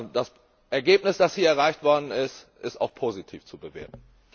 Das Ergebnis, das hier erreicht worden ist, ist auch positiv zu bewerten!